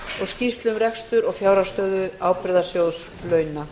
skýrslu um rekstur og fjárhagsstöðu ábyrgðasjóðs launa